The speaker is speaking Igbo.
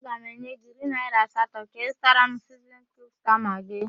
Aga m enye gị iri naỊra asatọ ka ịzụtara m siznin kiub sta magị.